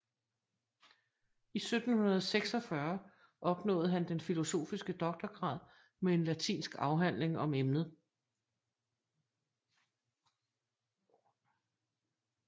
I 1746 opnåede han den filosofiske doktorgrad med en latinsk afhandling om emnet